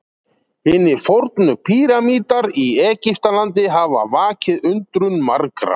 Hinir fornu píramídar í Egyptalandi hafa vakið undrun margra.